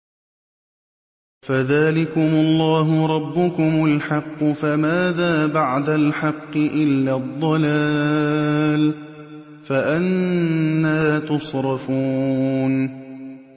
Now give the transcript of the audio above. فَذَٰلِكُمُ اللَّهُ رَبُّكُمُ الْحَقُّ ۖ فَمَاذَا بَعْدَ الْحَقِّ إِلَّا الضَّلَالُ ۖ فَأَنَّىٰ تُصْرَفُونَ